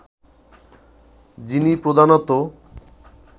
যিনি প্রধানত